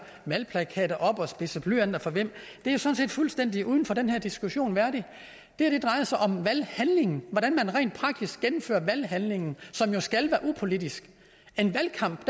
valgplakater op og spidser blyanter for hvem det er sådan set fuldstændig uden for den her diskussion det her drejer sig om valghandlingen hvordan man rent praktisk gennemfører valghandlingen som jo skal være upolitisk en valgkamp